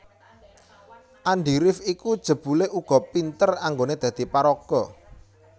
Andi rif iku jebulé uga pinter anggoné dadi paraga